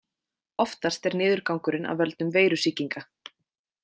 Oftast er niðurgangurinn af völdum veirusýkinga.